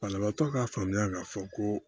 Banabaatɔ ka faamuya k'a fɔ ko